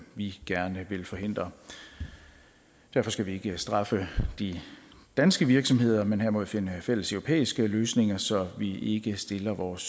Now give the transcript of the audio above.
vi gerne vil forhindre derfor skal vi ikke straffe de danske virksomheder men derimod finde fælles europæiske løsninger så vi ikke stiller vores